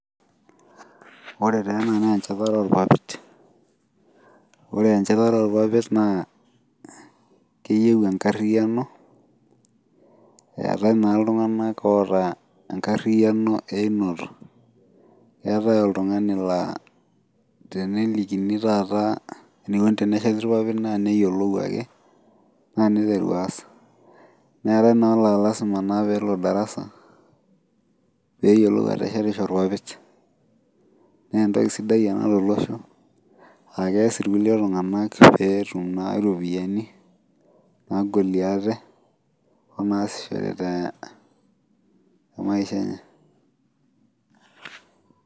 Wore taa ena naa enchatare oorpapit, wore enchatare orpapit naa keyieu enkarriyiano, eetae naa iltunganak oata enkarriyiano eiinoto. Eetae oltungani laa tenelikini taata enikuni tenesheti irpapit naa neyiolou ake, naa niteru aas. Neetae naa olaa lasima peyie elo darasa, peeyiolou aateshetisho irpapit. Naa entoki sidai ena tolosho, aa keas irkulie tunganak peetum naa iropiyani, naagolie ate, onaasishore temaisha enye.